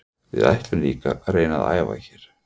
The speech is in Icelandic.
Við ætlum líka að reyna að æfa hérna.